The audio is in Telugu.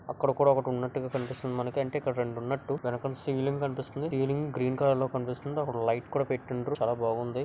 అక్కడ కూడా ఒకటి ఉన్నట్టుగా కనిపిస్తుంది. మనకి అంటే ఇక్కడ రెండు ఉన్నట్టు వెనకాల సిలింగ్ కనిపిస్తుంది. సిలింగ్ గ్రీన్ కలర్ లో కనిపిస్తుంది. అక్కడ ఒక లైట్ కూడా పెట్టిండ్రు. చాలా బావుంది.